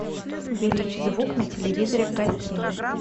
увеличь звук на телевизоре в гостиной